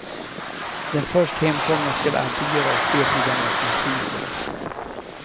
Den först hemkomna skall alltid göra upp eld i den öppna spisen.